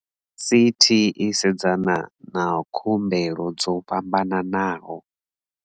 CT i sedzana na khu mbelo dzo fhambanaho.